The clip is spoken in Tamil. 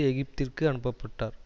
எகிப்திற்கு அனுப்ப்பட்டார்